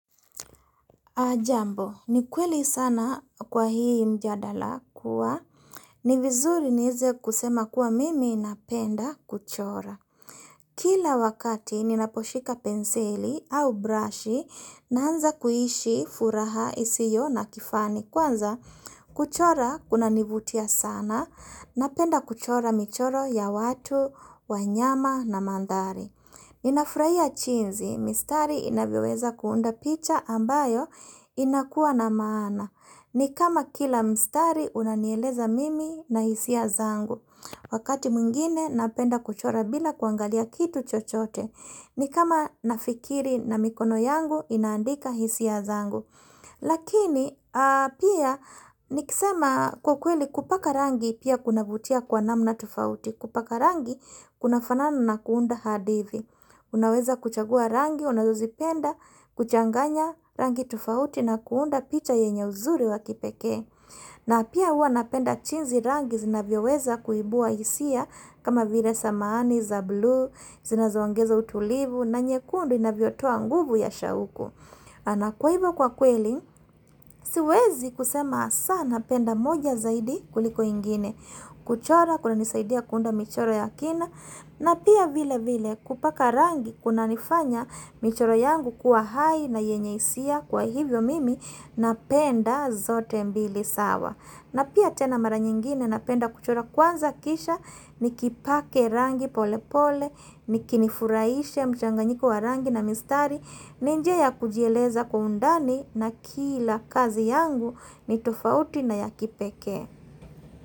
Jambo, ni kweli sana kwa hii mjadala kuwa, ni vizuri niweze kusema kuwa mimi napenda kuchora. Kila wakati, ninaposhika penseli au brashi, naanza kuishi furaha isiyo na kifani. Kwanza, kuchora kunanivutia sana, napenda kuchora michoro ya watu, wanyama na mandhari. Ninafurahia jinsi, mistari inavyoweza kuunda picha ambayo inakuwa na maana. Ni kama kila mstari unanieleza mimi na hisia zangu. Wakati mwingine napenda kuchora bila kuangalia kitu chochote. Ni kama nafikiri na mikono yangu inaandika hisia zangu. Lakini, pia, nikisema kwa kweli kupaka rangi pia kunavutia kwa namna tofauti. Kupaka rangi, kunafanana na kuunda hadithi Unaweza kuchagua rangi, unazozipenda, kuchanganya rangi tofauti na kuunda picha yenye uzuri wa kipekee na pia huwa napenda jinsi rangi zinavyoweza kuibua hisia kama vile samani za buluu, zinazoongeza utulivu, na nyekundu inavyotoa nguvu ya shauku kwa hivyo kwa kweli, siwezi kusema sana napenda moja zaidi kuliko ingine kuchora kunanisaidia kuunda michoro ya kina na pia vile vile kupaka rangi kunanifanya michoro yangu kuwa hai na yenye hisia Kwa hivyo mimi napenda zote mbili sawa na pia tena mara nyingine napenda kuchora kwanza kisha Nikipake rangi pole pole likinifurahisha mchanganyiko wa rangi na mistari ni njia ya kujieleza kwa undani na kila kazi yangu ni tofauti na ya kipekee.